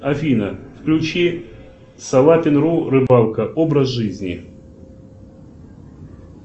афина включи салапин ру рыбалка образ жизни